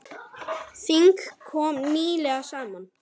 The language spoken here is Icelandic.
Þing kom nýlega saman.